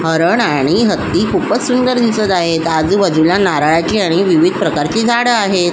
हरण आणि हत्ती खूपच सुंदर दिसत आहे आजूबाजूला नारळाची आणि विविध प्रकारची झाडं आहेत.